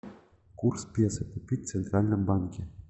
курс песо купить в центральном банке